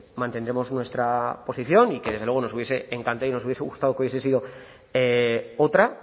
mantendremos nuestra posición y que desde luego nos hubiese encantado y nos hubiese gustado que hubiese sido otra